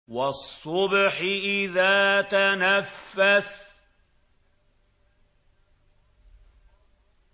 وَالصُّبْحِ إِذَا تَنَفَّسَ